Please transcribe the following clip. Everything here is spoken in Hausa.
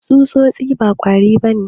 Tsutsotsi ba kwari ba ne.